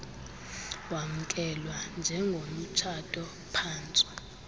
wamkelwa njengomtshato phantsu